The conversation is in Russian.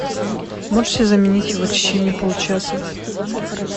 можете заменить его в течение получаса